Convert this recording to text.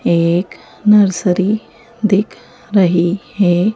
एक नर्सरी दिख रही है।